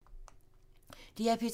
DR P2